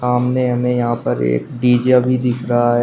सामने हमें यहां पर एक डी_जे भी दिख रहा है।